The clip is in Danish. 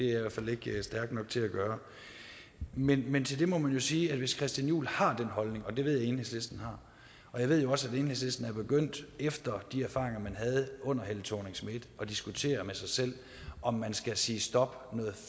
i hvert fald ikke stærk nok til at gøre men men til det må man jo sige at hvis herre christian juhl har den holdning og det ved jeg at enhedslisten har og jeg ved også at enhedslisten er begyndt efter de erfaringer man havde under helle thorning schmidt at diskutere med sig selv om man skal sige stop noget